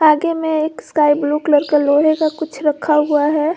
आगे में एक स्काई ब्लू कलर का लोहे का कुछ रखा हुआ है।